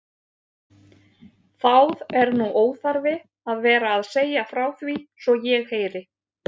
Þáð er nú óþarfi að vera að segja frá því svo ég heyri.